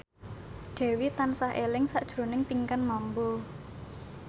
Dewi tansah eling sakjroning Pinkan Mambo